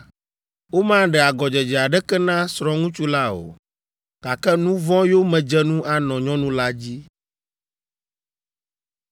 Womaɖe agɔdzedze aɖeke na srɔ̃ŋutsu la o, gake nu vɔ̃ yomedzenu anɔ nyɔnu la dzi.’ ”